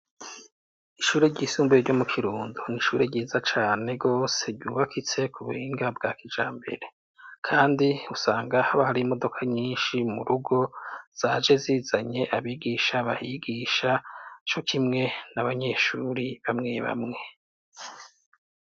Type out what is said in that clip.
Ishure ry'isumbuye ryo mu kirundo ni ishure ryiza cane gose ryubakitse ku buhinga bwa kijambere kandi usanga haba hari imodoka nyinshi mu rugo zaje zizanye abigisha bahigisha co kimwe n'abanyeshuri bamwe bamwe.